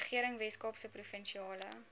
regering weskaapse provinsiale